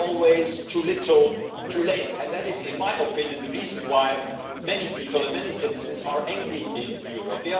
It is always too little, too late, and that, in my opinion, is the reason why many people and many citizens are angry in Europe.